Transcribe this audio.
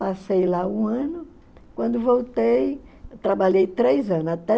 Passei lá um ano, quando voltei, trabalhei três anos, até